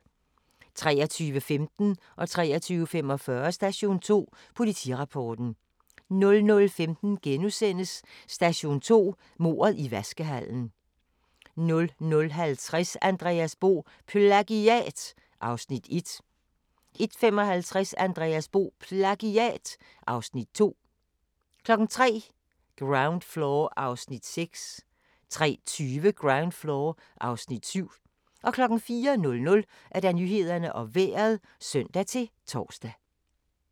23:15: Station 2: Politirapporten 23:45: Station 2: Politirapporten 00:15: Station 2: Mordet i vaskehallen * 00:50: Andreas Bo - PLAGIAT (Afs. 1) 01:55: Andreas Bo - PLAGIAT (Afs. 2) 03:00: Ground Floor (Afs. 6) 03:20: Ground Floor (Afs. 7) 04:00: Nyhederne og Vejret (søn-tor)